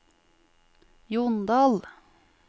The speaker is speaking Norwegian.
Jondal